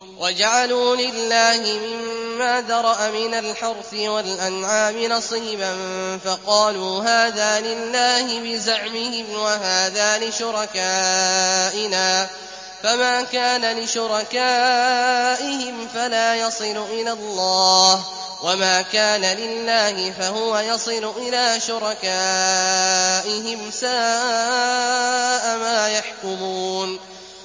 وَجَعَلُوا لِلَّهِ مِمَّا ذَرَأَ مِنَ الْحَرْثِ وَالْأَنْعَامِ نَصِيبًا فَقَالُوا هَٰذَا لِلَّهِ بِزَعْمِهِمْ وَهَٰذَا لِشُرَكَائِنَا ۖ فَمَا كَانَ لِشُرَكَائِهِمْ فَلَا يَصِلُ إِلَى اللَّهِ ۖ وَمَا كَانَ لِلَّهِ فَهُوَ يَصِلُ إِلَىٰ شُرَكَائِهِمْ ۗ سَاءَ مَا يَحْكُمُونَ